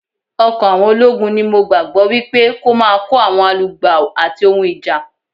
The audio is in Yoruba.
Ọkọ̀ àwọn ológun ni mo gbàgbọ́ wípé kó máa kó àwọn alugbàò ati ohun ìjà.